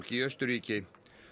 í Austurríki